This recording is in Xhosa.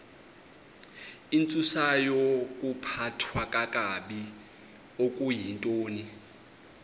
intsusayokuphathwa kakabi okuyintoni